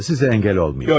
Sizə əngəl olmayım.